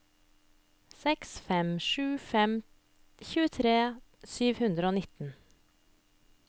seks fem sju fem tjuetre sju hundre og nitten